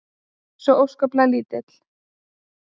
Svo óskaplega lítill.